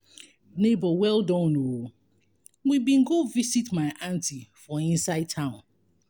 nebor well done o we bin go visit my aunty for inside town.